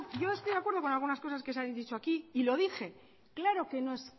yo estoy de acuerdo con algunas cosas que se han dicho aquí y lo dije claro que no es